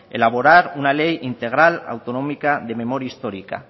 elaborar una ley integral autonómica de memoria histórica